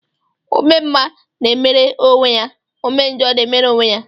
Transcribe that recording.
Ome mma na-emere onwe ya, ome njọ na-emere onwe ya